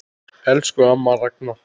Elsku amma Ragna.